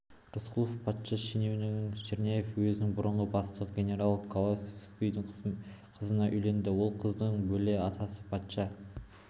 рысқұлов патша шенеунігі черняев уезінің бұрынғы бастығы генерал колосовскийдің қызына үйленеді ол қыздың бөле атасы патша